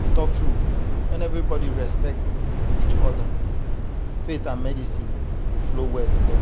to talk true when everybody respect each other faith and medicine go flow well together.